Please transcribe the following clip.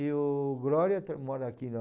E o Glória mora aqui na...